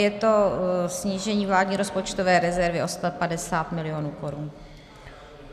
Je to snížení vládní rozpočtové rezervy o 150 mil. korun.